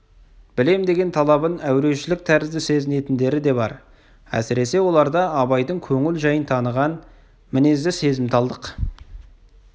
білем деген талабын әурешілік тәрізді сезінетіндері де бар әсіресе оларда абайдың көңіл жайын таныған мінезді сезімталдық